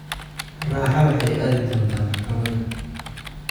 Raxa waxay aadi doontaa maxkamada